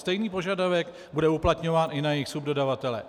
Stejný požadavek bude uplatňován i na jejich subdodavatele.